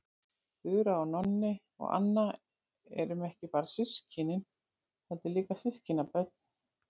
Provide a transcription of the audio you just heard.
Þura og Nonni og Anna erum ekki bara systkin heldur líka systkinabörn.